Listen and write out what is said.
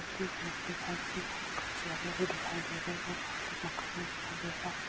Stage पे दिखाई दे रहे हैं यहाँ पे कुछ चेहरे भी दिखाई दे रहे हैं और यहाँ पे मकान भी दिखाई दे रहा है।